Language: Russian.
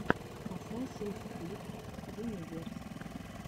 асасинс крид юниверс